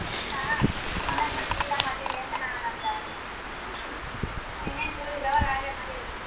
ಇನ್ನಾ ಕರದಿಲ್ಲ ಮದ್ವೆಗೆ ಅಂತಾ ನಾನ್ ಅಂದೆ ಅಕಿಗೆ ಇನ್ನೇನ್ full ಜೋರಾ ಹಾಗಾದ್ರೆ ಮದ್ವಿ.